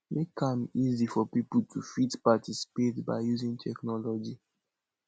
make am easy for pipo to fit participate by using technology